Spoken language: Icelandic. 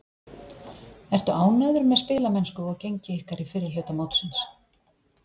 Ertu ánægður með spilamennsku og gengi ykkar í fyrri hluta mótsins?